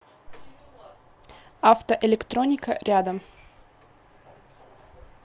автоэлектроника рядом